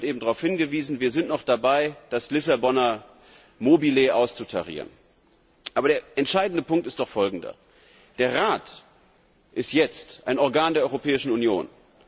Kollege Schulz hat eben darauf hingewiesen Wir sind noch dabei, das Lissabonner Mobile auszutarieren. Aber der entscheidende Punkt ist doch folgender Der Europäische Rat ist jetzt ein Organ der Europäischen